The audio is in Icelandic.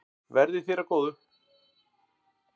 Verði þér að góðu.